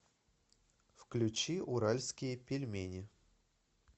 включи уральские пельмени